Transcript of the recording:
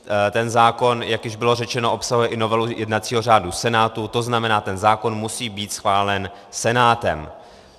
Ten zákon, jak již bylo řečeno, obsahuje i novelu jednacího řádu Senátu, to znamená, ten zákon musí být schválen Senátem.